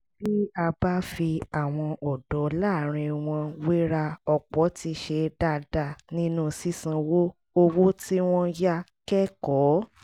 bí a bá fi àwọn ọ̀dọ́ láàárín wọn wéra ọ̀pọ̀ ti ṣe dáadáa nínú sísanwó owó tí wọ́n yá kẹ́kọ̀ọ́